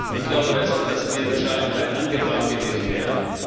Ich glaube, dass etwas mehr Bescheidenheit angebracht gewesen wäre.